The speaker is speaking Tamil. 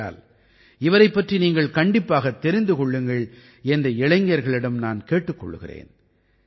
ஆகையால் இவரைப் பற்றி நீங்கள் கண்டிப்பாகத் தெரிந்து கொள்ளுங்கள் என்று இளைஞர்களிடம் நான் கேட்டுக் கொள்கிறேன்